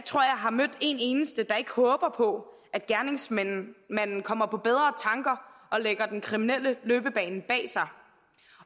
har mødt en eneste der ikke håber på at gerningsmanden kommer på bedre tanker og lægger den kriminelle løbebane bag sig